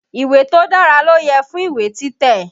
Ìwé tó dára ló yẹ fún ìwé títẹ̀.